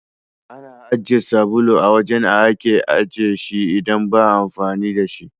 Ana ajiye sabulu a wajen a ake ajiye shi idan ba'a amfani da shi.